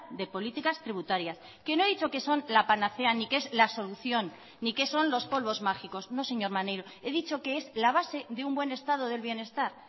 de políticas tributarias que no he dicho que son la panacea ni que es la solución ni que son los polvos mágicos no señor maneiro he dicho que es la base de un buen estado del bienestar